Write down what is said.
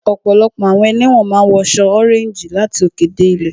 Ọ̀pọ̀lọpọ̀ àwọn ẹlẹ́wọ̀n máa ń wọ aṣọ ọréńjì láti òkè dé ilẹ̀